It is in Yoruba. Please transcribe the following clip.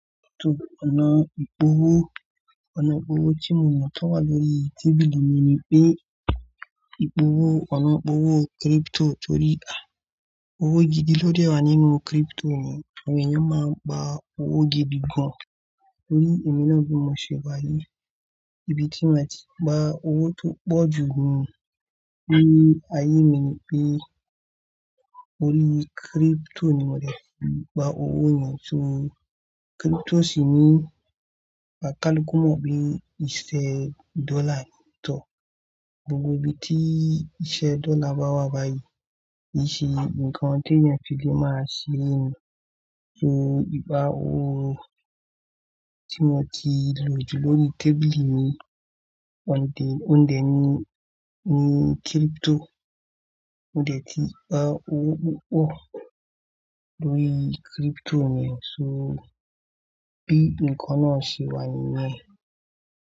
Crypto, ọ̀nà ìpòwó, ọ̀nà ìpòwó tí mo mọ̀ tó wà lórí tábìlì mi ni pé ìpòwó, ọ̀nà ìpòwó crypto torí à owó gidi ló dẹ́ra nínú crypto mi. Àwọn èèyàn máa ń gba owó gidi gan-an torí èmi náà ni mo ṣe wá yìí. Ibi tí mo ti gba owó tó pọ̀ jù ni lórí ayé mi ni pé orí crypto ni mo ti fi gba owó yẹn. So crypto sì ní pátákó mọ́ bí iṣẹ́ dọ́là yẹn tó. Gbogbo ibi tí iṣẹ́ dọ́là bá wà báyìí, ìṣí, ǹkan tí èèyàn fi lè máa ṣeré ni. So ìgbà owó tí mo ti lò jù lórí tábìlì mi, òǹdè, òǹdè ni, ni crypto. Mo ti gba owó púpọ̀ lórí crypto mi. So bí ǹkan náà ṣe wá nyin ẹ.